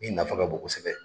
Min nafa ka bon kosɛbɛ.